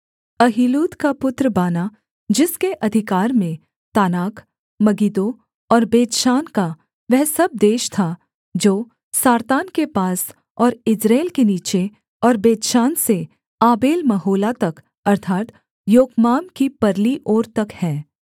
अहीलूद का पुत्र बाना जिसके अधिकार में तानाक मगिद्दो और बेतशान का वह सब देश था जो सारतान के पास और यिज्रेल के नीचे और बेतशान से आबेलमहोला तक अर्थात् योकमाम की परली ओर तक है